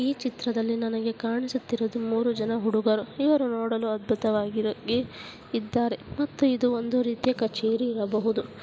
ಈ ಚಿತ್ರದಲ್ಲಿ ನನಗೆ ಕಾಣುತ್ತಿರುವುದು ಮೂರು ಜನ ಹುಡುಗರು ಇವರು ನೋಡಲು ಅದ್ಭುತವಾಗಿದ್ದಾರೆ ಮತ್ತೆ ಇದು ಒಂದು ರೀತಿಯ ಕಚೇರಿ ಇರಬಹುದು.